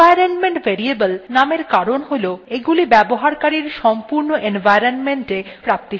environment variable named কারণ হল এগুলি ব্যবহারকারীর সম্পূর্ণ environment এ পুরোপুরি ভাবে প্রাপ্তিসাধ্য